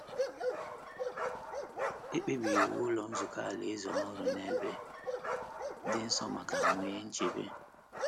E kpebiri iwu Ụlọ Nzukọ Alaeze ọhụrụ n’ebe dị nso ma ka nwee nchebe.